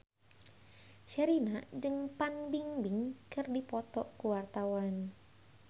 Sherina jeung Fan Bingbing keur dipoto ku wartawan